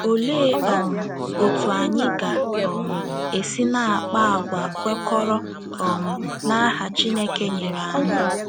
Olee um otú anyị ga - um esi na - akpa àgwà kwekọrọ um n’aha Chineke nyere anyị?